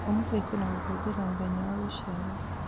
ũmũthĩ kwĩ na gũkũngũĩra mũthenya wa gũciarwo